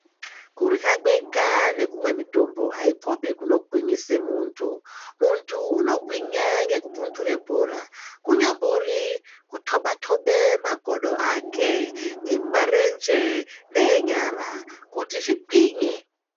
Kurya kwega nekumwa mitombo aikopi kunogwinyisa munthu munthu unogwinya ngekupundure bhora kunyambori kutoba toba makodo ake emumarenje neenyara kuti zvigwinye.